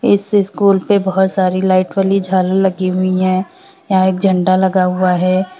इस स्कूल पे बहुत सारी लाइट वाली झालर लगी हुई है यहां एक झंडा लगा हुआ है।